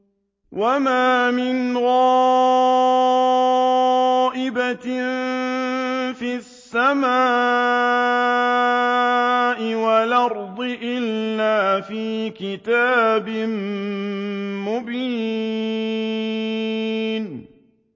وَمَا مِنْ غَائِبَةٍ فِي السَّمَاءِ وَالْأَرْضِ إِلَّا فِي كِتَابٍ مُّبِينٍ